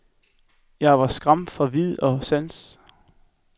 Jeg var skræmt fra vid og sans.